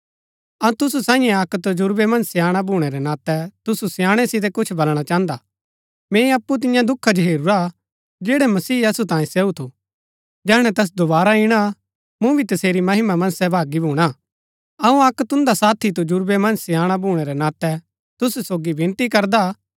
अऊँ तुसु सांईये अक्क तजुर्वै मन्ज स्याणा भूणै रै नातै तुसु स्याणै सितै कुछ बलणा चाहन्दा हा मैंई अप्पु तिन्या दुखा जो हेरूरा हा जैड़ै मसीह असु तांये सहू थू जैहणै तैस दोवारा इणा मूँ भी तसेरी महिमा मन्ज सहभागी भूणा अऊँ अक्क तुन्दा साथी तजुर्वै मन्ज स्याणा भूणै रै नातै तुसु सोगी विनती करदा